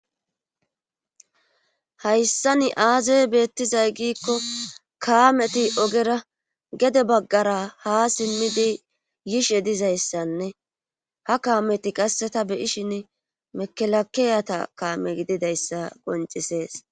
hayssa ni aaza beettizay giikko kaameti ogera gede baggara ha simmidi yishe dizayssanne ha kaameti qasseta beyishin mekelakeyata kaame gididayssa goncisees